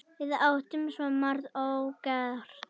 Við áttum svo margt ógert.